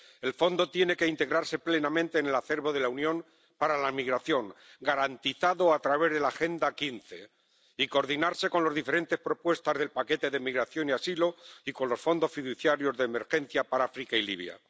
El Fondo tiene que integrarse plenamente en el acervo de la Unión para la migración, garantizado a través de la Agenda Europea de Migración de 2015, y coordinarse con las diferentes propuestas del paquete de migración y asilo y con los fondos fiduciarios de emergencia para África y Libia.